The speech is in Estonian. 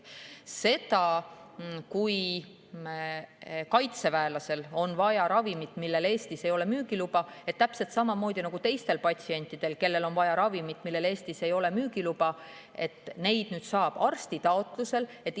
Kui kaitseväelasel on vaja ravimit, millel ei ole Eestis müügiluba, siis täpselt samamoodi nagu teiste patsientide puhul, kellel on vaja ravimit, millel ei ole Eestis müügiluba, saab seda arsti taotluse alusel.